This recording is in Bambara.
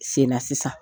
Sen na sisan